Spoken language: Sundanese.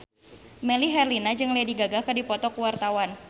Melly Herlina jeung Lady Gaga keur dipoto ku wartawan